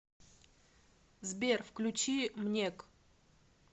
сбер включи мнек